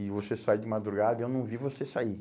E você sai de madrugada e eu não vi você sair.